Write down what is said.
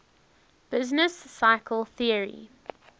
business cycle theory